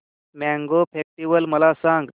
mango festival मला सांग